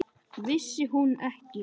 Vissi hún ekki!